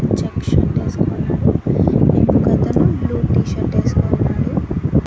Check shirt ఏసుకోన్నాడు ఇంకొక అతను బ్లూ టీ-షర్ట్ ఏసుకోన్నాడు.